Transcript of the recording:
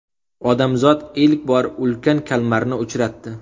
Odamzod ilk bor ulkan kalmarni uchratdi .